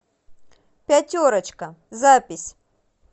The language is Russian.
пятерочка запись